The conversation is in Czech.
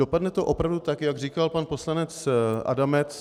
Dopadne to opravdu tak, jak říkal pan poslanec Adamec.